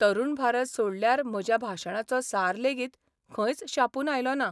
तरुण भारत 'सोडल्यार म्हज्या भाशणाचो सार लेगीत खंयच छापून आयलो ना.